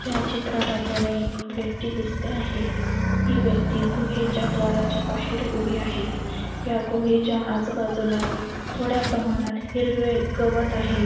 या चित्रात आपल्याला एक व्यक्ती दिसते आहे ही व्यक्ती गुहेच्या द्वाराच्या बाहेर उभी आहे या गुहेच्या आजूबाजूला थोड्या प्रमाणात हिरवे गवत आहे.